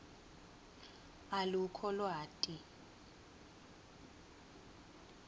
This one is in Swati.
alukho lwati